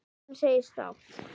Guðrún segist sátt.